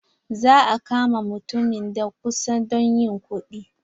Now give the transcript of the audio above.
Za a kama mutumin da kusa don yin kuɗi.